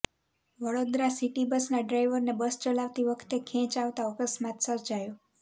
Vadodara city બસના ડ્રાઇવરને bus ચલાવતી વખતે ખેંચ આવતા અકસ્માત સર્જાયો